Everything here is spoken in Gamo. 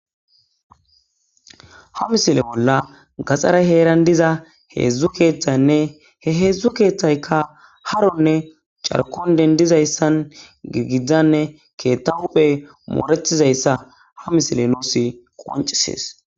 ha misile bolla gaxaray heeran diza heedzdzu keeththaynne he heedzdzu keeththaykka haronne carkon dendizayssan giigizdzanne keethta huphe mooretizayssa ha misile nuus qoncisees